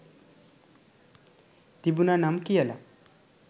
තිබුනනම් කියල